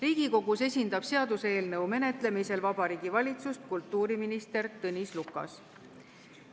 Riigikogus esindab seaduseelnõu menetlemisel Vabariigi Valitsust kultuuriminister Tõnis Lukas.